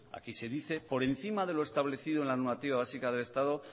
aquí se dice por encima de lo establecido en la normativa básica del estado